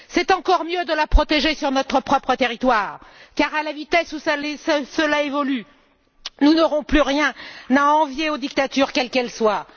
Il est encore mieux de la protéger sur notre propre territoire car, à la vitesse où évoluent les choses, nous n'aurons bientôt plus rien à envier aux dictatures, quelles qu'elles soient.